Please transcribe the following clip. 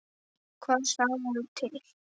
Hvað segirðu til?